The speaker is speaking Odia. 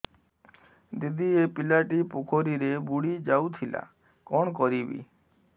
ଦିଦି ଏ ପିଲାଟି ପୋଖରୀରେ ବୁଡ଼ି ଯାଉଥିଲା କଣ କରିବି